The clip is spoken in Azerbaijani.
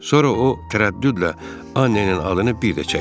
Sonra o tərəddüdlə Annenin adını bir də çəkdi.